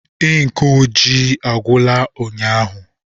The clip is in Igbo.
Ink ojii agwụla ụnyaahụ.